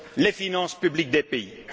ordre les finances publiques des États.